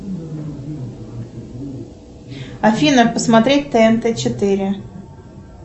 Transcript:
афина посмотреть тнт четыре